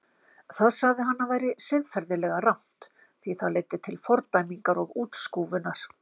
Það sagði hann að væri siðferðilega rangt því það leiddi til fordæmingar og útskúfunar.